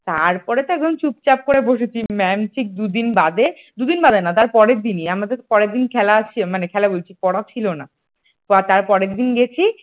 তারপরে তো একদম চুপচাপ করে বসেছি mam ঠিক দুদিন বাদে দুদিন বাদে না তারপরের দিনই আমাদের পরের দিন খেলা মানে খেলা বলছি আমাদের পড়া ছিলনা তো তার পরের দিন গেছি ।